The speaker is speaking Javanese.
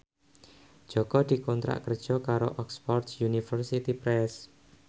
Jaka dikontrak kerja karo Oxford University Press